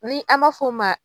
Ni an b'a f'o ma.